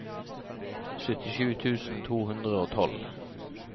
syttisju tusen to hundre og tolv